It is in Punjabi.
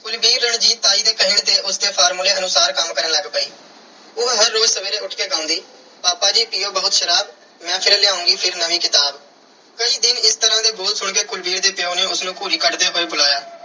ਕੁਲਵੀਰ ਰਣਜੀਤ ਤਾਈ ਦੇ ਕਹੇ ਤੇ ਉਸ ਦੇ formula ਅਨੁਸਾਰ ਕੰਮ ਕਰਨ ਲੱਗ ਪਈ। ਉਹ ਹਰ ਰੋਜ਼ ਸਵੇਰੇ ਉੱਠ ਕੇ ਗਾਉਂਦੀ- ਪਾਪਾ ਜੀ ਪੀਓ ਬਹੁਤ ਸ਼ਰਾਬ। ਮੈਂ ਫਿਰ ਲਿਆਉਂਗੀ ਫਿਰ ਨਵੀਂ ਕਿਤਾਬ। ਕਈ ਦਿਨ ਇਸ ਤਰ੍ਹਾਂ ਦੇ ਬੋਲ ਸੁਣ ਕੇ ਕੁਲਵੀਰ ਦੇ ਪਿਉ ਨੇ ਉਸ ਨੂੰ ਘੂਰੀ ਕੱਢਦੇ ਹੋਏ ਬੁਲਾਇਆ